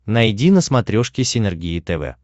найди на смотрешке синергия тв